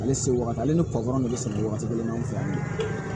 Ale se wagati ale ni patɔrɔn de sɛnɛ wagati kelen ne fɛ yan bi